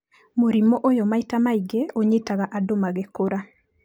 Mũrimũ ũyũ maita maingĩ ũnyitaga andũ magĩkũra.